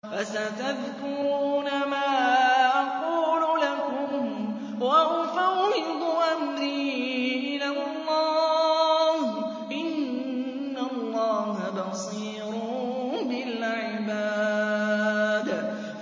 فَسَتَذْكُرُونَ مَا أَقُولُ لَكُمْ ۚ وَأُفَوِّضُ أَمْرِي إِلَى اللَّهِ ۚ إِنَّ اللَّهَ بَصِيرٌ بِالْعِبَادِ